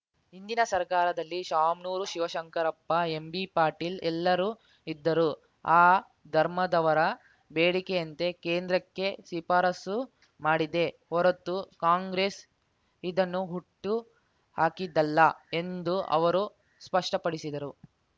ಹಿಂದಿನ ಸರ್ಕಾರದಲ್ಲಿ ಶಾಮ್ನೂರು ಶಿವಶಂಕರಪ್ಪ ಎಂಬಿಪಾಟೀಲ್‌ ಎಲ್ಲರೂ ಇದ್ದರು ಆ ಧರ್ಮದವರ ಬೇಡಿಕೆಯಂತೆ ಕೇಂದ್ರಕ್ಕೆ ಶಿಫಾರಸು ಮಾಡಿದ್ದೆ ಹೊರತು ಕಾಂಗ್ರೆಸ್‌ ಇದನ್ನು ಹುಟ್ಟು ಹಾಕಿದ್ದಲ್ಲ ಎಂದು ಅವರು ಸ್ಪಷ್ಟಪಡಿಸಿದರು